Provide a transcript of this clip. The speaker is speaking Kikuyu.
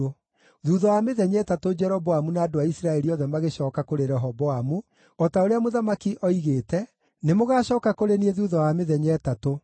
Thuutha wa mĩthenya ĩtatũ Jeroboamu na andũ a Isiraeli othe magĩcooka kũrĩ Rehoboamu, o ta ũrĩa mũthamaki oigĩte, “Nĩmũgacooka kũrĩ niĩ thuutha wa mĩthenya ĩtatũ.”